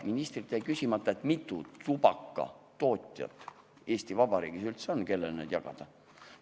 Ministrilt jäi küsimata, kui mitu tubakatootjat Eesti Vabariigis üldse on, kellele neid koode saab jagada.